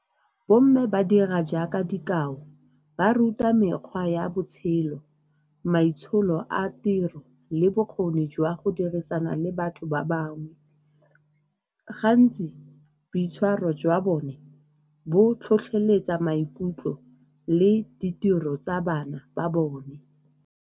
Bomme ba dira jaaka dikao, ba ruta mekgwa ya botshelo, maitsholo a tiro le bokgoni jwa go dirisana le batho ba bangwe. Gantsi boitshwaro jwa bone bo tlhotlheletsa maikutlo le ditiro tsa bana ba bone.